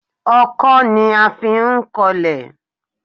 Ọkọ́ ni a fí ń kọlẹ̀